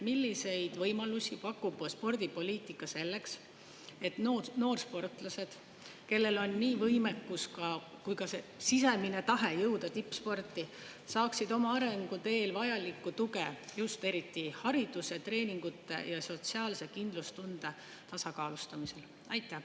Milliseid võimalusi pakub spordipoliitika selleks, et noorsportlased, kellel on nii võimekus kui ka sisemine tahe jõuda tippsporti, saaksid oma arenguteel vajalikku tuge just eriti hariduse, treeningute ja sotsiaalse kindlustunde tasakaalustamiseks?